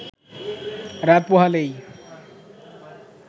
রাত পোহালেই